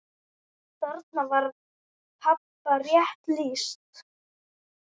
Þarna var pabba rétt lýst.